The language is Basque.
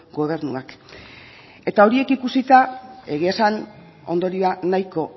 gobernuak eta horiek ikusita egia esan ondorioa nahiko